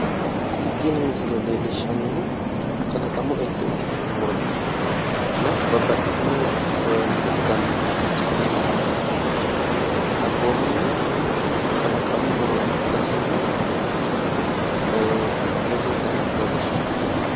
Kalaqamu elto ikkitino muro leellishanno misilerti